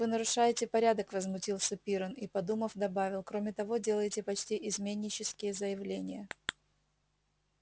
вы нарушаете порядок возмутился пиренн и подумав добавил кроме того делаете почти изменнические заявления